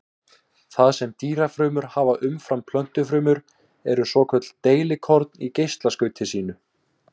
Það sem dýrafrumur hafa umfram plöntufrumur eru svokölluð deilikorn í geislaskauti sínu.